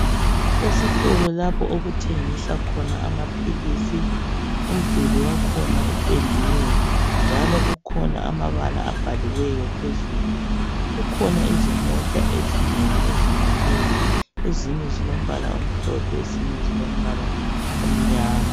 Esitolo lapha okuthengiswa khona amaphilisi, umduli wakhona upendiwe, njalo kukhona amabala abhaliweyo phezulu. Kukhona izimota ezinengi ezimileyo. Ezinye zilombala omhlophe. Ezinye zilombala omnyama.